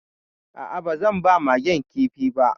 A'a, ba zan ba Magen kifi ba